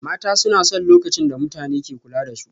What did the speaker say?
Mata suna son lokacin da mutane ke kula da su